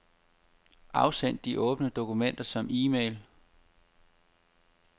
Afsend de åbne dokumenter som e-mail.